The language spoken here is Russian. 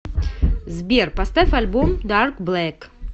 сбер поставь альбом дарк блэк